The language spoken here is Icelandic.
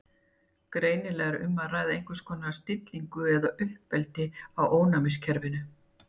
Greinilega er um að ræða einhvers konar stillingu eða uppeldi á ónæmiskerfinu.